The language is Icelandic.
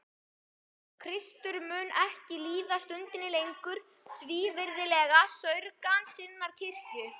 Kristur mun ekki líða stundinni lengur svívirðilega saurgan sinnar kirkju.